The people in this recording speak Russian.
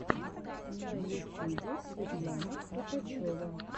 на ютюбе светлана кропочева